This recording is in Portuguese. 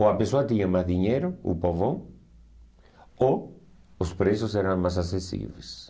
Ou a pessoa tinha mais dinheiro, o povão, ou os preços eram mais acessíveis.